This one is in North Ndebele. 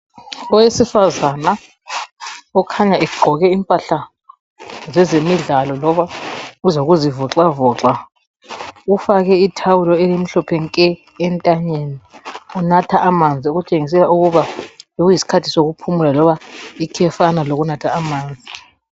Owesifazana okhanya egqoke impahla zezemidlalo loba ezokuzivoxavoxa, ufake ithawulo elimhlophe nke entanyeni, unatha amanzi okutshengisela ukuba bekusiyisikhathi sokuphumula loba ikhefana lokunatha amanzi.